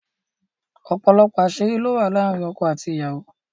òpòlopò aṣiri ló wà láàrin ọkọ àti aya.